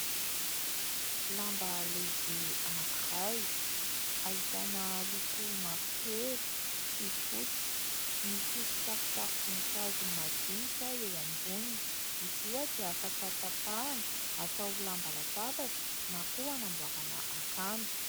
Lamba lehibe anankiray ahitana loko mavo kely sy fotsy misy sarisary voninkazo madinika eo amboniny, izy io ohatra afaka tapahana atao lamba latabatra na koa hanamboarana akanjo.